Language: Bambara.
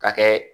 Ka kɛ